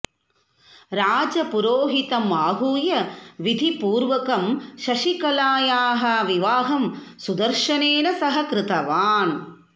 राजपुरोहितम् आहूय विधिपूर्वकं शशिकलायाः विवाहं सुदर्शनेन सह कृतवान्